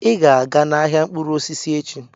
Ị ga-aga n'ahịa mkpụrụ osisi echi.